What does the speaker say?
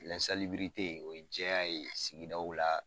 lɛnsalibirite o ye jɛya ye sigidaw la